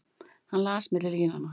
Hann las milli línanna.